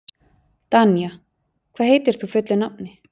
Danía, hvað heitir þú fullu nafni?